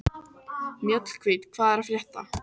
Mjallhvít, hvað er að frétta?